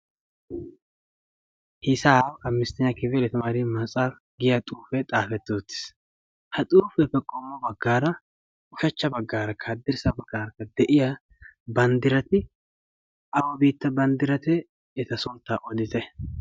'Hisaabi amistenya kifil yetemari metshafi' yaagiyaa xuufe xaafeti uttiis. ha xuufiyappe ushachcha baggarakka haddirssa baggarakka diya banddirati awa biitta banddirate eta suntta oditte.